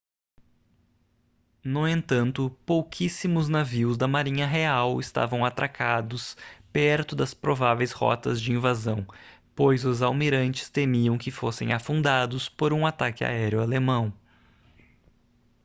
no entanto pouquíssimos navios da marinha real estavam atracados perto das prováveis rotas de invasão pois os almirantes temiam que fossem afundados por um ataque aéreo alemão